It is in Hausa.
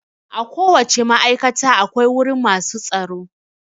A ko wace ma'aikata akwai wurin masu tsaro